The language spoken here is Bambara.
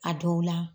A dɔw la